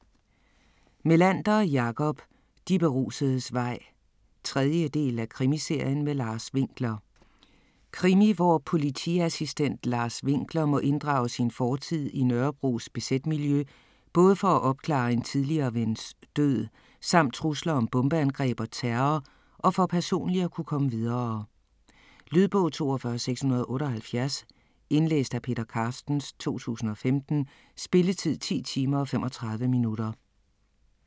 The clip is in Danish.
Melander, Jakob: De berusedes vej 3. del af Krimiserien med Lars Winkler. Krimi hvor politiassistent Lars Winkler må inddrage sin fortid i Nørrebros bz-miljø, både for at opklare en tidligere vens død samt trusler om bombeangreb og terror, og for personligt at kunne komme videre. Lydbog 42678 Indlæst af Peter Carstens, 2015. Spilletid: 10 timer, 35 minutter.